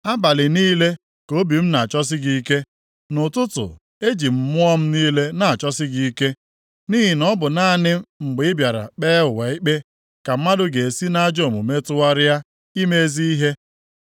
Abalị niile ka obi m na-achọsi gị ike, nʼụtụtụ eji m mmụọ m niile na-achọsi gị ike, nʼihi na ọ bụ naanị mgbe ị bịara kpee ụwa ikpe ka mmadụ ga-esi nʼajọ omume tụgharịa ime ezi ihe.